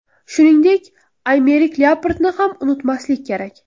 Shuningdek, Aymerik Lyaportni ham unutmaslik kerak.